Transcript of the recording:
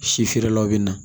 Si feerelaw bɛ na